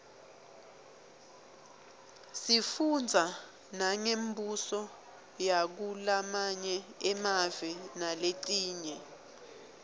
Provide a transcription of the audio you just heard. sifundza nangembuso yakulamanye emave naletinye